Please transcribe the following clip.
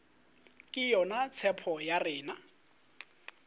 ke yona tshepo ya rena